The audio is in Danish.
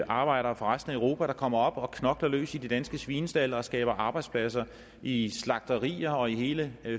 arbejdere fra resten af europa der kommer op og knokler løs i de danske svinestalde og skaber arbejdspladser i i slagterier og i hele